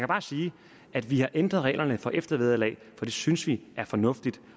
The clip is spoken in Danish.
bare sige at vi har ændret reglerne få eftervederlag for det synes vi er fornuftigt